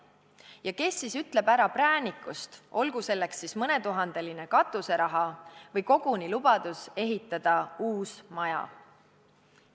Ja kes siis ütleb ära präänikust, olgu selleks siis mõnetuhandeline katuseraha või koguni lubadus ehitada uus maja.